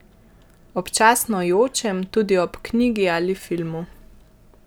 Občasno jočem tudi ob knjigi ali filmu.